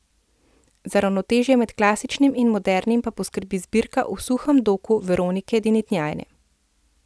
Za ravnotežje med klasičnim in modernim pa poskrbi zbirka V suhem doku Veronike Dintinjane.